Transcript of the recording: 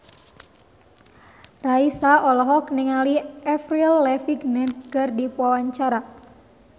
Raisa olohok ningali Avril Lavigne keur diwawancara